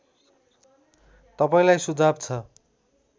तपाईँलाई सुझाव छ